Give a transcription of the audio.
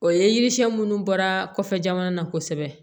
O ye yiri siyɛn minnu bɔra kɔfɛ jamana na kosɛbɛ